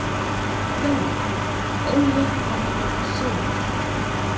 Þjálfari: Óli Halldór Sigurjónsson.